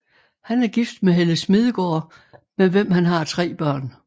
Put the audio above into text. Han er gift med Helle Smedegaard med hvem han tre børn